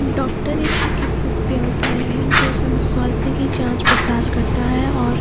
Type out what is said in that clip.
doctor ऐक चिकित्सक व्यवसाय है जो सब स्वास्थ्य की जांच पड़ताल करता है और --